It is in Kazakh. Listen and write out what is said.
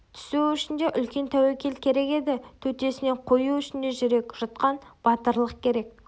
түсу үшін де үлкен тәуекел керек еді төтесінен қою үшін де жүрек жұтқан батырлық керек